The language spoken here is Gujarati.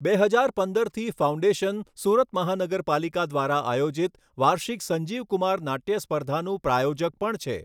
બે હજાર પંદરથી ફાઉન્ડેશન સુરત મહાનગરપાલિકા દ્વારા આયોજિત વાર્ષિક સંજીવ કુમાર નાટ્ય સ્પર્ધાનું પ્રાયોજક પણ છે.